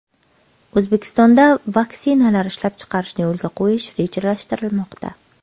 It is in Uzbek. O‘zbekistonda vaksinalar ishlab chiqarishni yo‘lga qo‘yish rejalashtirilmoqda.